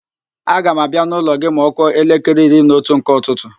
Aga m abịa n'ụlọ gị ma ọ kụọ elekere iri na otu nke ụtụtụ